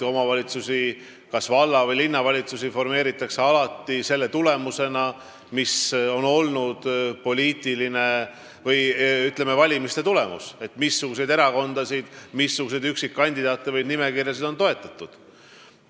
Omavalitsusi, kas valla- või linnavalitsusi formeeritakse alati valimiste tulemuse järgi, st missuguseid erakondi, üksikkandidaate või nimekirju on toetatud.